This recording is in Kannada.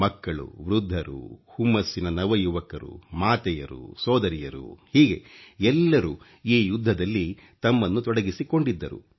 ಮಕ್ಕಳು ವೃದ್ಧರು ಹುಮ್ಮಸ್ಸಿನ ನವ ಯುವಕರು ಮಾತೆಯರು ಸೋದರಿಯರು ಹೀಗೆ ಎಲ್ಲರೂ ಈ ಯುದ್ಧದಲ್ಲಿ ತಮ್ಮನ್ನು ತೊಡಗಿಸಿಕೊಂಡಿದ್ದರು